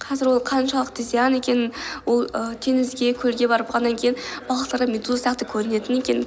қазір ол қаншалықты зиян екенін ол ііі теңізге көлге барып құлағаннан кейін балықтарға медуза сияқты көрінетін екенін